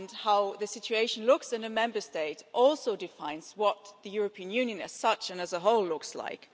How the situation looks in a Member State also defines what the European Union as such, and as a whole, looks like.